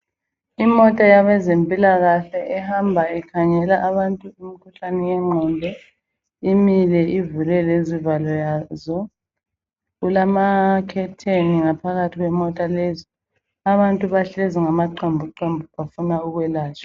Imota yabezempilakahle ehamba ikhangela abantu umkhuhlane wegqondo, imile ivule lezivalo zayo, kulamakhetheni ngaphakathi kwemota lezi. Abantu bahlezi ngamaqembuqembu bafuna ukwelatshwa